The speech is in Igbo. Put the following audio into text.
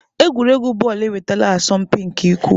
Egwuregwu bọọlụ enwetala asọmpi nke ukwuu.